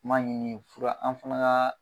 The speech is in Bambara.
N ma ɲini fura an fana ka